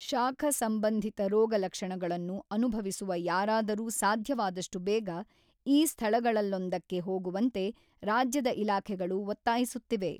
ಶಾಖ ಸಂಬಂಧಿತ ರೋಗಲಕ್ಷಣಗಳನ್ನು ಅನುಭವಿಸುವ ಯಾರಾದರೂ ಸಾಧ್ಯವಾದಷ್ಟು ಬೇಗ ಈ ಸ್ಥಳಗಳಲ್ಲೊಂದಕ್ಕೆ ಹೋಗುವಂತೆ ರಾಜ್ಯದ ಇಲಾಖೆಗಳು ಒತ್ತಾಯಿಸುತ್ತಿವೆ.